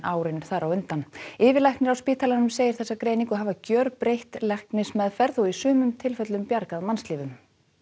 árin á undan yfirlæknir á spítalanum segir þessa greiningu hafa gjörbreytt læknismeðferð og í sumum tilfellum bjargað mannslífum